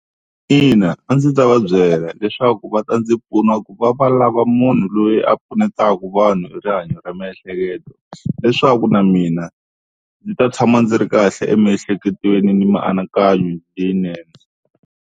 Ina a ndzi ta va byela leswaku va ta ndzi pfuna ku va va lava munhu loyi a pfunetaka vanhu hi rihanyo ra miehleketo, leswaku na mina ndzi ta tshama ndzi ri kahle emiehleketweni ni mianakanyo leyinene.